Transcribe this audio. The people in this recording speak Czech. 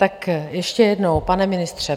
Tak ještě jednou, pane ministře.